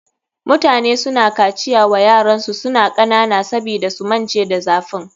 Mutane suna kaciya wa yaransu suna kanana sabida su mance da zafin.